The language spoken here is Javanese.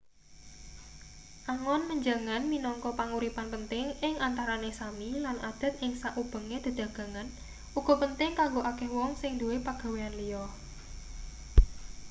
angon menjangan minangka panguripan penting ing antarane sámi lan adat ing sakubenge dedagangan uga penting kanggo akeh wong sing duwe pagawean liya